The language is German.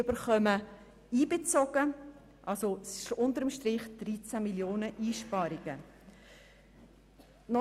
Unter dem Strich handelt es sich um Einsparungen von 13 Mio. Franken.